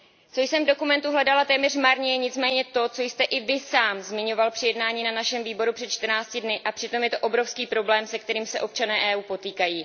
Co jsem v dokumentu hledala téměř marně je nicméně to, co jste i Vy sám zmiňoval při jednání na našem výboru před 14 dny, a přitom je to obrovský problém, se kterým se občané EU potýkají.